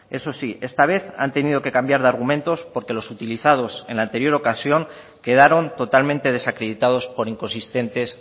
eso sí esta vez han tenido que cambiar de argumentos porque los utilizados en la anterior ocasión quedaron totalmente desacreditados por inconsistentes